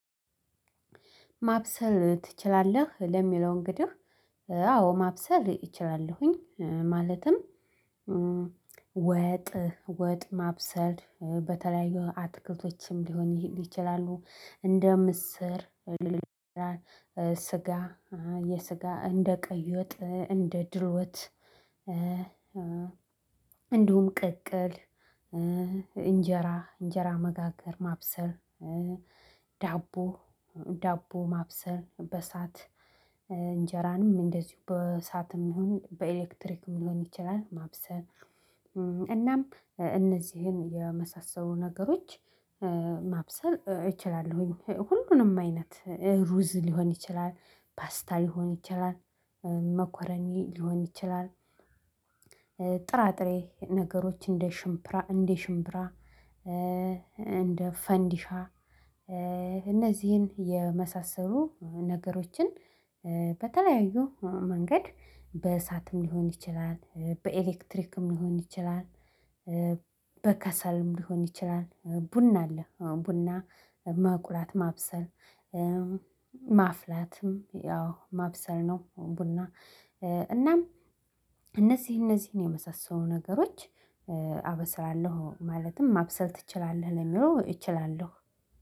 ማብሰል ትችላለህ ለሚለው እንግዲህ አዎ ማብሰል እችላለሁኝ ማለትም ወጥ ወጥ ማብሰል በተለያዩ አትክልቶችም ሊሆን ይችላሉ እንደ ምስር። ስጋ የስጋ እንደ ቀይወጥ እንደ ድሎት። እንዲሁም ቅቅል እንጀራ እንጀራ መጋገር ማብሰል። ዳቦ ዳቦ ማብሰል በእሳት እንጀራንም እንደዚሁ በእሳትም ይሁን በኤሌክትሪክም ሊሆን ይችላል ማብሰል። እናም እነዚህን የመሳሰሉ ነገሮች። ማብሰል እችላለሁኝ ሁሉንም አይነት ሩዝ ሊሆን ይችላል ፓስታ ሊሆን ይችላል መኮረኒ ሊሆን ይችላል። ጥራጥሬ ነገሮች እንደ ሽምብራ እንደ ሽምብራ። እንደ ፈንዲሻ። እነዚህን የመሳሰሉ ነገሮችን። በተለያዩ መንገድ በእሳትም ሊሆን ይችላል በኤሌክትሪክም ሊሆን ይችላል። በከሰልም ሊሆን ይችላል ቡና አለ ቡና መቁላት ማብሰል። ማፍላትም ያው ማብሰል ነው። ቡና እናም እነዚህ እነዚህን የመሳሰሉ ነገሮች። አበስላለሁ ማለትም ማብሰል ትችላለህ ለሚለው እችላለሁ